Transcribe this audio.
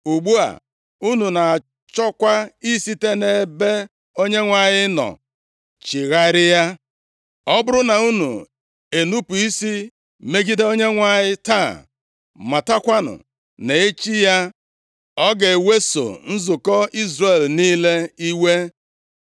Ugbu a, unu na-achọkwa isite nʼebe Onyenwe anyị nọ chigharịa. “ ‘Ọ bụrụ na unu enupu isi megide Onyenwe anyị taa, matakwanụ na echi ya, ọ ga-eweso nzukọ Izrel niile iwe.